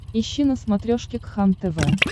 ищи на смотрешке кхлм тв